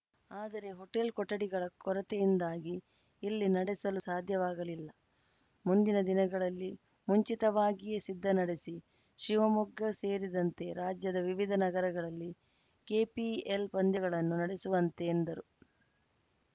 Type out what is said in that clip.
ಆದರೆ ಹೋಟೆಲ್‌ ಕೊಠಡಿಗಳ ಕೊರತೆಯಿಂದಾಗಿ ಇಲ್ಲಿ ನಡೆಸಲು ಸಾಧ್ಯವಾಗಲಿಲ್ಲ ಮುಂದಿನ ದಿನಗಳಲ್ಲಿ ಮುಂಚಿತವಾಗಿಯೇ ಸಿದ್ಧ ನಡೆಸಿ ಶಿವಮೊಗ್ಗ ಸೇರಿದಂತೆ ರಾಜ್ಯದ ವಿವಿಧ ನಗರಗಳಲ್ಲಿ ಕೆಪಿಎಲ್‌ ಪಂದ್ಯಗಳನ್ನು ನಡೆಸುವಂತೆ ಎಂದರು